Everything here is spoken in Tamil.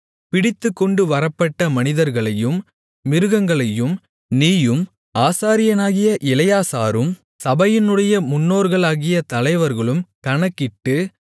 பிடித்துக்கொண்டு வரப்பட்ட மனிதர்களையும் மிருகங்களையும் நீயும் ஆசாரியனாகிய எலெயாசாரும் சபையினுடைய முன்னோர்களாகிய தலைவர்களும் கணக்கிட்டு